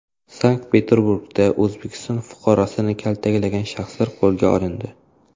Sankt-Peterburgda O‘zbekiston fuqarosini kaltaklagan shaxslar qo‘lga olindi.